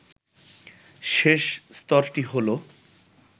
শেষ স্তরটি হল